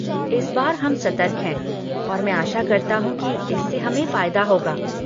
इस बार हम सतर्क हैं और मैं आशा करता हूँ कि इससे हमें फ़ायदा होगा।